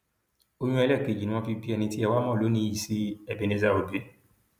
oyún ẹlẹẹkejì ni wọn fi bí ẹni tí ẹ wàá mọ lónìí yìí sí ebenezer obey